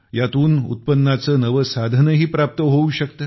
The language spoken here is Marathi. यातून उत्पन्नाचे नवे साधनही प्राप्त होऊ शकते